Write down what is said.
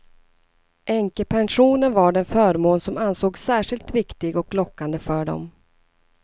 Änkepensionen var den förmån som ansågs särskilt viktig och lockande för dem.